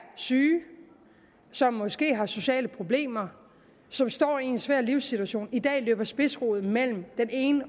syge som måske har sociale problemer og som står i en svær livssituation i dag løber spidsrod mellem den ene